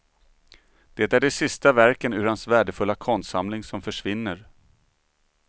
Det är de sista verken ur hans värdefulla konstsamling som försvinner.